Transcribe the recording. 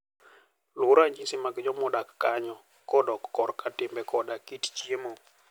Luw ranyisi mar joma odak kanyo kodok korka timbe koda kit chiemo.